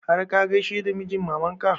Har ka gaishe da mijin maman ka?